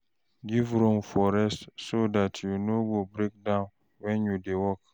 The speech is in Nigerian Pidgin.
Give room for rest so dat you no go breakdown when you dey work